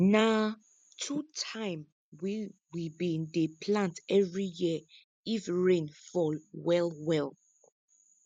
na two time we we bin dey plant every year if rain fall well well